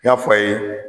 N y'a fɔ aw ye